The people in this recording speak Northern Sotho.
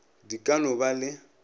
di ka no ba le